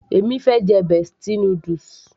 mo fẹ́ jẹ bestie noodles